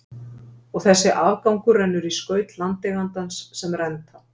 Og þessi afgangur rennur í skaut landeigandans sem renta.